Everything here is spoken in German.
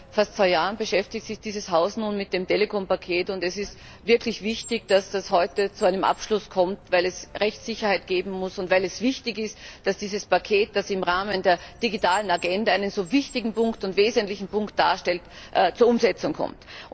Seit fast zwei Jahren beschäftigt sich dieses Haus nun mit dem Telekom Paket, und es ist wirklich wichtig, dass das heute zu einem Abschluss kommt, weil es Rechtssicherheit geben muss, und weil es wichtig ist, dass dieses Paket, das im Rahmen der digitalen Agenda einen so wichtigen und wesentlichen Punkt darstellt, zur Umsetzung kommt.